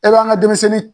E b'an ka denmisɛnnin